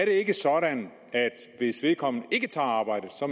ikke sådan at hvis vedkommende ikke tager arbejdet